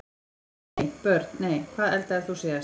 nei Börn: nei Hvað eldaðir þú síðast?